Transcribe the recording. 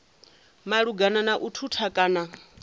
malugana na u thutha kana